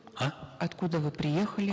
а откуда вы приехали